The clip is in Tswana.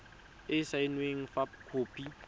e e saenweng fa khopi